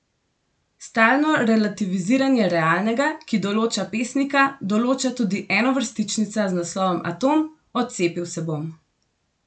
Stalno relativiziranje realnega, ki določa pesnika, določa tudi enovrstičnica z naslovom Atom: "Odcepil se bom".